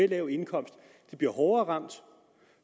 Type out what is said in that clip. lav indkomst bliver hårdere ramt